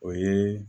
O ye